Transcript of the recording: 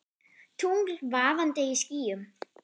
Tungl vaðandi í skýjum.